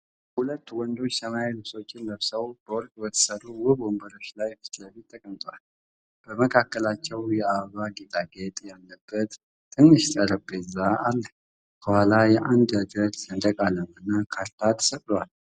ሁለት ወንዶች ሰማያዊ ልብሶችን ለብሰው በወርቅ በተሠሩ ውብ ወንበሮች ላይ ፊት ለፊት ተቀምጠዋል። በመካከላቸው የአበባ ጌጣጌጥ ያለበት ትንሽ ጠረጴዛ አለ። ከኋላ የአንድ አገር ሰንደቅ ዓላማና ካርታ ተሰቅለዋል።